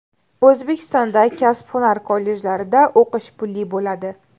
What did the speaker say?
O‘zbekistonda kasb-hunar kollejlarida o‘qish pulli bo‘ladi.